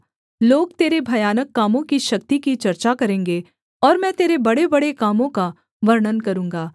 लोग तेरे भयानक कामों की शक्ति की चर्चा करेंगे और मैं तेरे बड़ेबड़े कामों का वर्णन करूँगा